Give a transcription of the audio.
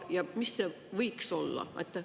Ja mis see võiks olla?